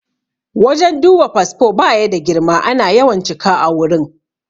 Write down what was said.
Wajen duba fasfo baya da girma, ana yawan cika a wurin